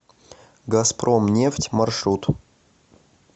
газпромнефть маршрут